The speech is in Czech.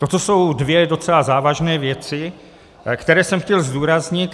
Toto jsou dvě docela závažné věci, které jsem chtěl zdůraznit.